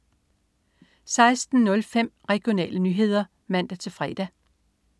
16.05 Regionale nyheder (man-fre)